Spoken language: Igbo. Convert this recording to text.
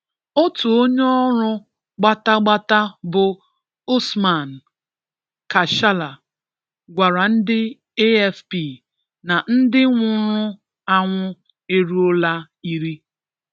Otu onye ọrụ gbatagbata bụ Usman Kachalla, gwara ndị AFP na 'Ndị nwụrụ anwụ eruo la iri'.